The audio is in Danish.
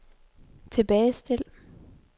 tilbagestil